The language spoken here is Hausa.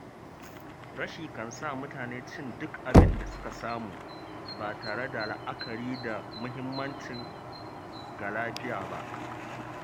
Rashi kan sa mutane cin duk abin da suka samu, ba tare da la’akari da muhimmancin ga lafiya ba